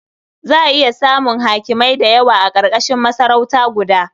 Za a iya samun hakimai da yawa a ƙarƙashin masarauta guda.